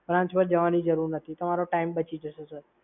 branch પર જવાની જરૂર નથી. તમારો સમય બચી જશે સર.